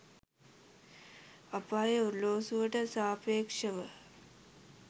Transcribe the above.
අපායේ ඔරලෝසුවට සාපේක්ෂව